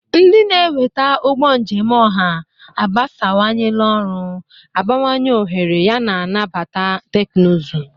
Ndị na-eweta ụgbọ njem ọha agbasawanyela ọrụ, abawanye ohere, yana nabata teknụzụ.